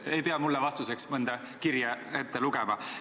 Te ei pea mulle vastuseks mõnda kirja ette lugema.